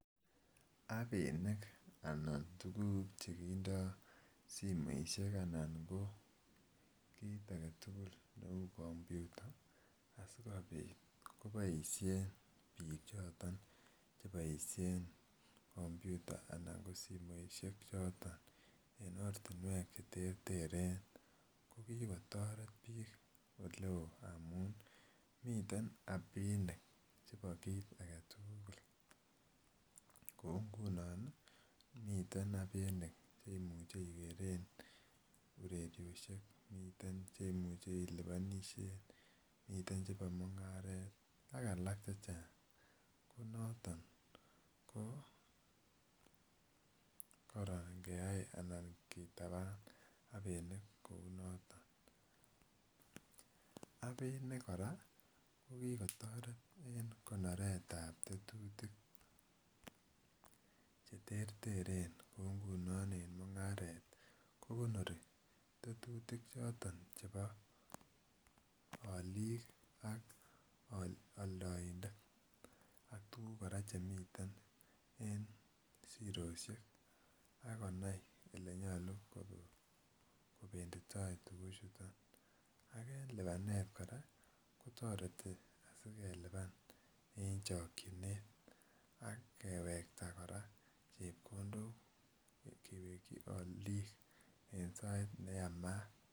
Appinik anan ko tuguk chekindoo simoisiek anan koo kitaketugul neu kompyuta asikobit koboisien bichoto cheboisien kompyuta anan ko simoisiek choton en ortinwek cheterter kokikotoret biik eleo amun miten appinik chebo kit agetugul, kou ngunon miten appinikh che imuche ikeren ureriosiek, miten che imuche ilipanishen ,miten chepo mung'aret ak alak cheng'ang konoto koo koron ingeyai anan ngitapan appinik kou noton, appinik kora kokikotoret en konoretab tetutik cheterteren kou ngunon en mung'aret kokonori tetutik choto chebo aliik ak altoindet ak tuguk kora chemiten en zerosiek akonai olenyolu kobenditoia tuguchuton, ak en lipanet kora kotoreti asikelipan en chokyinet akewekta kora chepkondok kewekyi aliik en sait neyamat.